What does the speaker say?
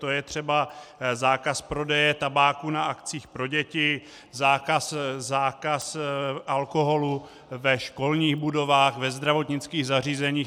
To je třeba zákaz prodeje tabáku na akcích pro děti, zákaz alkoholu ve školních budovách, ve zdravotnických zařízeních.